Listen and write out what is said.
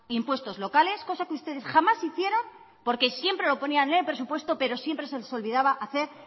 impuestos locales cosa que ustedes jamás hicieron porque siempre lo ponían en el presupuesto pero siempre se les olvidaba hacer